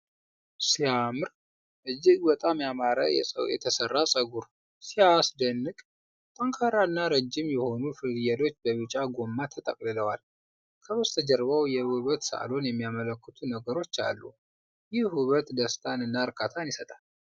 ሲያምር! እጅግ በጣም ያማረ የተሠራ ፀጉር! ሲያስደንቅ! ጠንካራና ረጅም የሆኑ ጥልፍሎች በቢጫ ጎማ ተጠቅልለዋል። ከበስተጀርባው የውበት ሳሎን የሚያመለክቱ ነገሮች አሉ። ይህ ውበት ደስታንና እርካታን ይሰጣል!